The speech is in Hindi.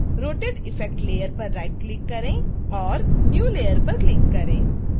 rotate effect layer पर राइटक्लिक करें और new layer पर क्लिक करें